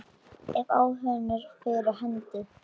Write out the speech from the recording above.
Ef áhuginn er fyrir hendi.